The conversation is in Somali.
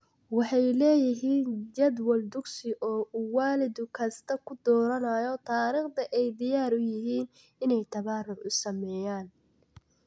Waxay leeyihiin jadwal dugsi oo uu waalid kastaa ku dooranayo taariikhda ay diyaar u yihiin inay tabaruc u sameeyaan.